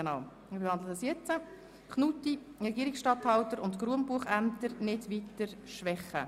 Es geht um die Motion Knutti «Regierungsstatthalter und Grundbuchämter nicht weiter schwächen».